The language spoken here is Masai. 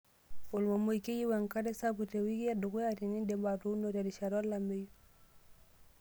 Olmomoi:Keyieu enkare sapuk teweiki edukuya tenindip atuuno terishata olameyu.